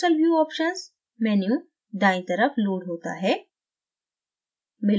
crystal view options menu दायीं तरफ load होता है